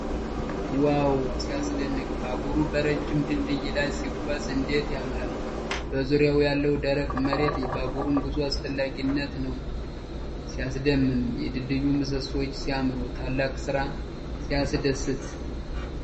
ዋው! ሲያስደንቅ! ባቡሩ በረጅም ድልድይ ላይ ሲጓዝ እንዴት ያምራል! በዙሪያው ያለው ደረቅ መሬት የባቡሩን ጉዞ አስፈላጊነት ነው። ሲያስደምም! የድልድዩ ምሰሶዎች ሲያምሩ! ታላቅ ስራ! ሲያስደስት!